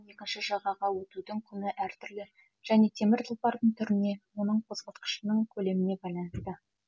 екінші жағаға өтудің құны әртүрлі және темір тұлпардың түріне оның қозғалтқышының көлеміне байланысты